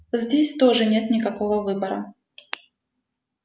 здесь тоже нет никакого выбора